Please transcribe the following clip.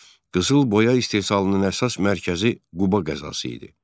Qızılboya istehsalının əsas mərkəzi Quba qəzası idi.